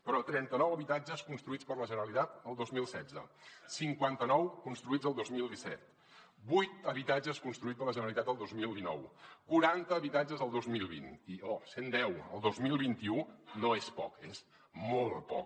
però trenta nou habitatges construïts per la generalitat el dos mil setze cinquanta nou construïts el dos mil disset vuit habitatges construïts per la generalitat el dos mil dinou quaranta habitatges el dos mil vint i oh cent deu el dos mil vint u no és poc és molt poc